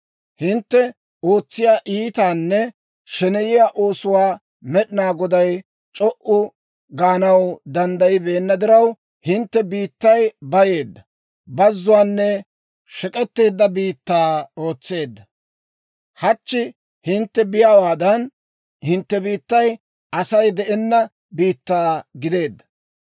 Hintte ootsiyaa iitanne sheneyiyaa oosuwaa Med'inaa Goday c'o"u gaanaw danddayibeenna diraw, hintte biittay bayeedda, bazuwaanne shek'etteedda biittaa ootseedda. Hachchi hintte be'iyaawaadan, hintte biittay Asay de'enna biittaa gideedda.